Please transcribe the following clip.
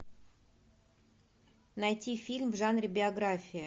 найти фильм в жанре биография